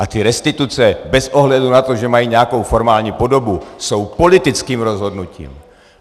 A ty restituce bez ohledu na to, že mají nějakou formální podobu, jsou politickým rozhodnutím.